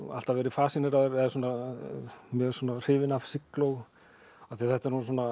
alltaf verið mjög hrifinn af sigló af því þetta